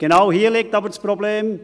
Genau hier liegt aber das Problem: